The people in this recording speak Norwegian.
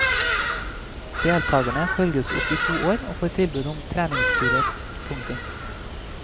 Deltagerne følges opp i to år og får tilbud om treningsturer. punktum